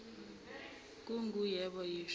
kungu yebo yisho